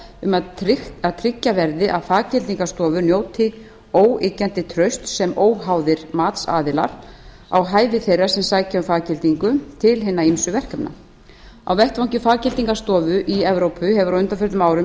um að tryggja verði að faggildingarstofur njóti óyggjandi trausts sem óháðir matsaðilar á hæfi þeirra sem sækja um faggildingu til hinna ýmsu verkefna faggildingarstofa má ekki stunda starfsemi sem hún metur aðra hæfa til að starfrækja á vettvangi faggildingarstofa í evrópu hefur á undanförnum árum